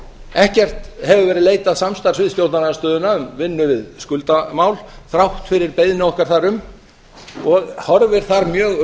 ekkert hefur verið leitað samstarfs við stjórnarandstöðuna um vinnu við skuldamál þrátt fyrir beiðni okkar þar um og horfir þar mjög